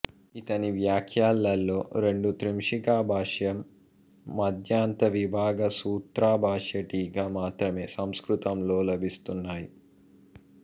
ఇతని వ్యాఖ్యలలో రెండు త్రింశికాభాష్యం మధ్యాంత విభాగ సూత్రా భాష్య టీక మాత్రమే సంస్కృతంలో లభిస్తున్నాయి